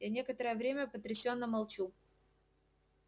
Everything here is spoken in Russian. я некоторое время потрясённо молчу